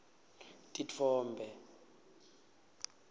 titfombe